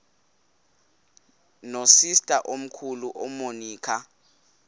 nosister omkhulu umonica